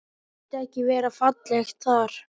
Skyldi ekki vera fallegt þar?